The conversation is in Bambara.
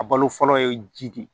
A balo fɔlɔ ye ji de ye